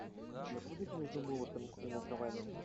у тебя будет между молотом и наковальней